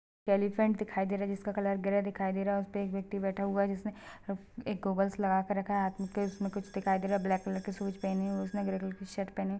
Elephant दिखाई दे रहा है जिसका कलर ग्रे दिखाई दे रहा है उस पे एक व्यक्ति बैठ हुआ है जिसने एक गॉगल्स लगा के रखा है हाथ मे कुछ दिखाई दे रहा है ब्लैक कलर के शुज पहने हुए है और उसने ग्रे शर्ट पहनी है।